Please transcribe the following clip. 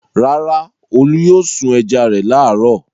Rárá, Olú yóò sun ẹja rẹ̀ láàárọ̀.